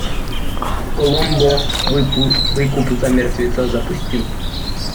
коломбо выкуп за мертвеца запусти